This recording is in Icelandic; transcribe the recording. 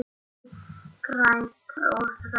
Grænt og þröngt.